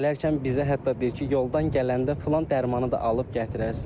Gələkən bizə hətta deyir ki, yoldan gələndə filan dərmanı da alıb gətirəsiniz.